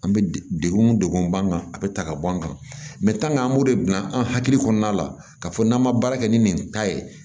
An bɛ degun degun b'an kan a bɛ ta ka bɔ an kan an b'o de bila an hakili kɔnɔna la k'a fɔ n'an ma baara kɛ ni nin ta ye